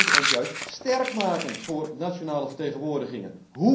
Wij moeten ons juist sterk maken voor nationale vertegenwoordigingen.